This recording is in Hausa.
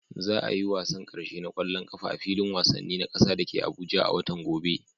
Za a yi wasan karshe na kwallon kafa a filin wasanni na kasa da ke Abuja a watan gobe.